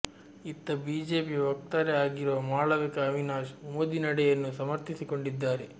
ಇತ್ತ ಬಿಜೆಪಿಯ ವಕ್ತಾರೆ ಆಗಿರುವ ಮಾಳವಿಕಾ ಅವಿನಾಶ್ ಮೋದಿ ನಡೆಯನ್ನು ಸಮರ್ಥಿಸಿಕೊಂಡಿದ್ದಾರೆ